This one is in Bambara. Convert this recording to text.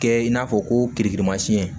Kɛ i n'a fɔ ko kirikilimasiyɛn